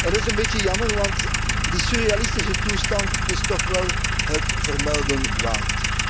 Dat is een beetje jammer, want die surrealistische toestand is toch wel het vermelden waard.